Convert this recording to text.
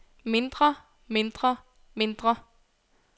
mindre mindre mindre